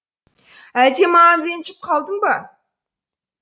әлде маған ренжіп қалдың ба